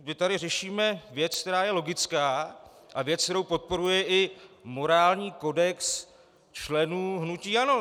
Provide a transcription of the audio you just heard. My tady řešíme věc, která je logická, a věc, kterou podporuje i morální kodex členů hnutí ANO.